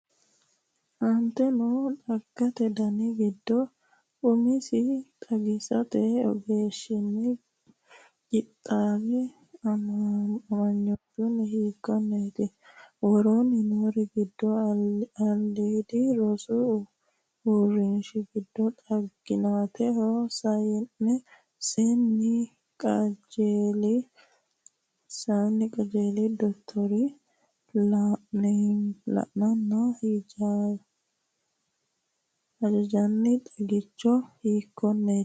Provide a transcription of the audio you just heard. Aante noo xaggate dani giddo umisi xagisate ogeessinni qixxaawe aamamannohu hiikkonneeti? Woroonni noori giddo aliidi rosu uurrinshi giddo xaginaatu sayin- senni qajeelino dottorinni la’neenna hajanjanni xagichi hiikkonneeti?